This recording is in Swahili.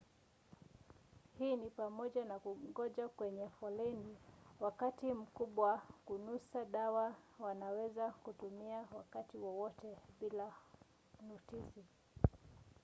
hii ni pamoja na kungoja kwenye foleni wakati mbwa wa kunusa dawa wanaweza kutumiwa wakati wowote bila notisi